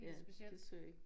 Ja det så jeg ikke